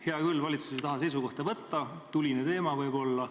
Hea küll, valitsus ei taha seisukohta võtta, tuline teema võib-olla.